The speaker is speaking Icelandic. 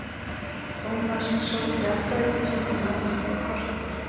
Thomas sótti áttavitann sinn og lagðist yfir kortið.